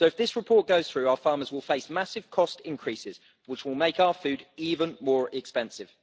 So, if this report goes through, our farmers will face massive cost increases, which will make our food even more expensive.